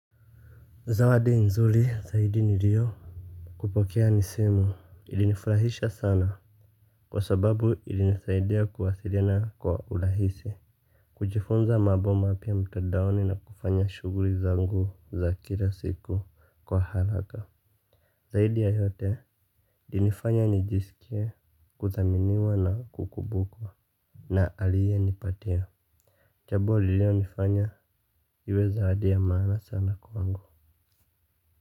Zawadi nzuri zaidi nilio kupokea ni simu. Ilinifrahisha sana kwa sababu ilinisaidia kuwasiliana kwa urahisi. Kujifunza mambo mapya mtandaoni na kufanya shuguli zangu za kila siku kwa haraka. Zaidi ya yote ilinifanya nijisikie kudhaminiwa na kukumbukwa na aliye nipatia. Jambo lililolifanya iwe zawadi ya maana sana kwangu.